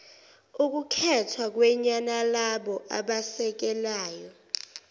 okukhethwa kanyenalabo abasekelayo